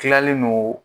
Tilalen don